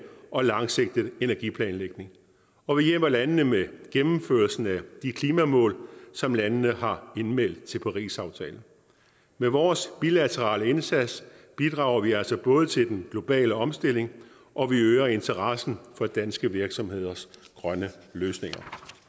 og langsigtet energiplanlægning og vi hjælper landene med at gennemføre de klimamål som landene har indmeldt til parisaftalen med vores bilaterale indsats bidrager vi altså både til den globale omstilling og øger interessen for danske virksomheders grønne løsninger